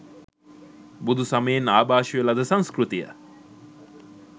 බුදු සමයෙන් ආභාෂය ලද සංස්කෘතිය